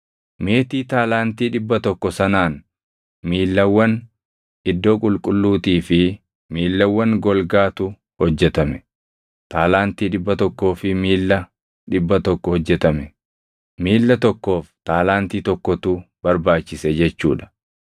Meetii taalaantii 100 sanaan miillawwan iddoo qulqulluutii fi miillawwan golgaatu hojjetame; taalaantii 100 fi miilla 100 hojjetame; miilla tokkoof taalaantii tokkotu barbaachise jechuu dha.